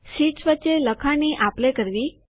sheets વચ્ચે લખાણની આપ લે કરવી